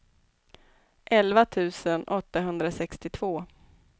elva tusen åttahundrasextiotvå